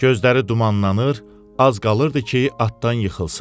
Gözləri dumanlanır, az qalırdı ki, atdan yıxılsın.